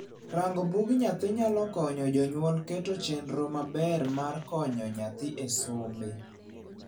Rango bug nyathi nyalo konyo jonyuol keto chenro maber maro konyo nyathi e sombe.